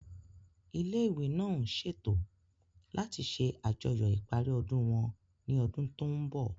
Ilé ìwé náà ń ṣètò láti ṣe àjọyọ̀ ìparí ọdún wọn ní ọdún tó ń bọ̀